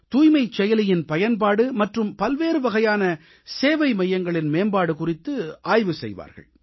தூய்மைச் செயலியின் பயன்பாடு மற்றும் பல்வேறு வகையான சேவை மையங்களின் மேம்பாடு குறித்து ஆய்வு செய்வார்கள்